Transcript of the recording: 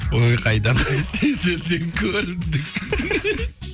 ой қайдам сендерден көрімдік